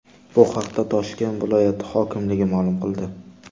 Bu haqda Toshkent viloyat hokimligi ma’lum qildi .